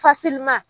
Fasiliman